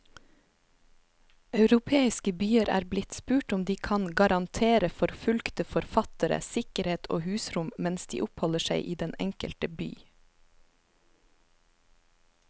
Europeiske byer er blitt spurt om de kan garantere forfulgte forfattere sikkerhet og husrom mens de oppholder seg i den enkelte by.